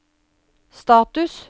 status